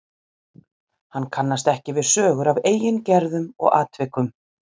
Hann kannast ekki við sögur af eigin gerðum og atvikum.